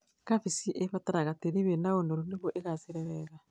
Kambĩji ĩbataraga tĩĩri wĩna ũnoru nĩguo ĩgaacĩre wega